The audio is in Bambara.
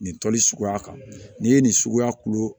Nin tɔli suguya kan n'i ye nin suguya kulo